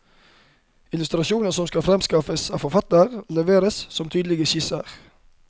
Illustrasjoner som skal fremskaffes av forfatteren, leveres som tydelige skisser.